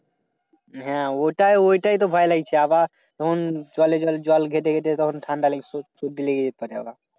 হ্যাঁ ওইটাই ওইটাই তো ভায় লাগছে আবার এখন জলে জলে জল ঘেটে ঘেটে যখন ঠান্ডা